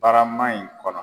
Barama in kɔnɔ.